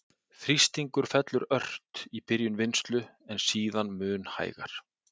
Þrýstingur fellur ört í byrjun vinnslu, en síðan mun hægar.